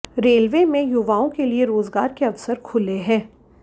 railway में युवाओं के लिए रोजगार के अवसर खुले हैं